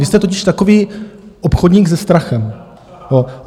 Vy jste totiž takový obchodník se strachem.